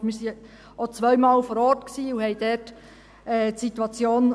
Wir waren auch zweimal vor Ort und betrachteten dort die Situation.